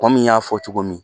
ƆKo min y'a fɔ cogo min.